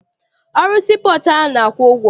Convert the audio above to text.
Ọrụ sii pọọtụ a na-akwụ ụgwọ?